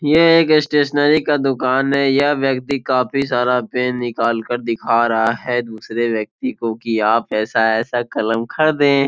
यहाँ एक स्टेशनरी का दुकान है यह व्यक्ति काफी सारा पेन निकाल कर दिखा रहा है दूसरे व्यक्ति को की आप ऐसा ऐसा कलम खरीदे।